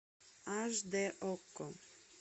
аш д окко